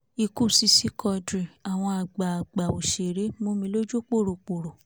ikú sisi quadri àwọn àgbàgbà òṣèré mọ́mì lójú pòròpórò